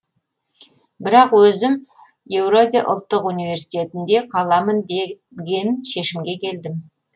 бірақ өзім еуразия ұлттық университетінде қаламын деген шешімге келдім